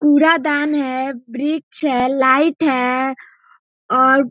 कूड़ादान है वृक्ष है लाइट है और --